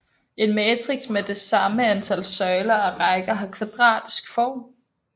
En matrix med det samme antal søjler og rækker har kvadratisk form